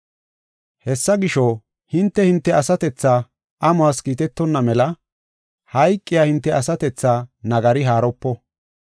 Hessa gisho, hinte, hinte asatethaa amuwas kiitetonna mela hayqiya hinte asatethaa nagari haaropo.